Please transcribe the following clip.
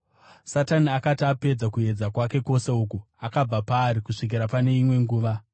Satani akati apedza kuedza kwake kwose uku, akabva paari kusvikira pane imwe nguva.